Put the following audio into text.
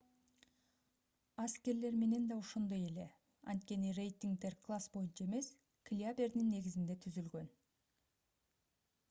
аскерлер менен да ошондой эле анткени рейтингдер класс боюнча эмес килябердин негизинде түзүлгөн